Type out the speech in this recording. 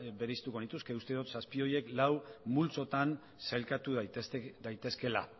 bereiztuko nituzke uste dut zazpi horiek lau multzotan sailkatu daitezkeela